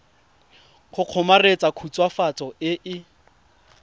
go kgomaretsa khutswafatso e e